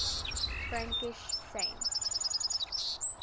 frankish saints